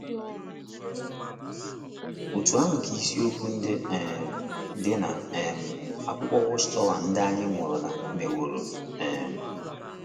Otú ahụ ka isiokwu ndị um dị n’ um akwukọ WatchTower ndị anyị mụrụla meworo um.